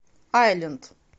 айленд